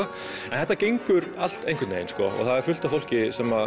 en þetta gengur allt einhvern veginn og það er fullt af fólki sem